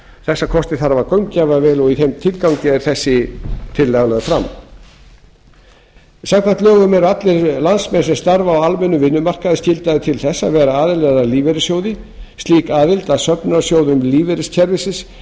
þessa kosti þarf að gaumgæfa vel og í þeim tilgangi er þessi tillaga lögð fram samkvæmt lögum eru allir landsmenn sem starfa á almennum vinnumarkaði skyldaðir til þess að vera aðilar að lífeyrissjóði slík aðild að söfnunarsjóðum lífeyriskerfisins